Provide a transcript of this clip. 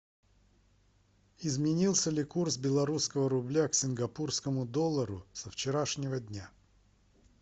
изменился ли курс белорусского рубля к сингапурскому доллару со вчерашнего дня